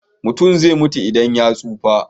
Mutum zai mutu idan ya tsufa.